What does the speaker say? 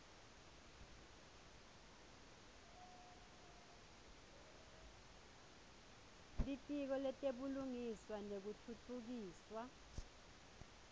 litiko letebulungiswa nekutfutfukiswa